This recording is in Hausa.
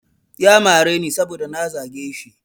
Ya mareni saboda na zage shi.